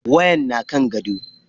Wayan na kan gado.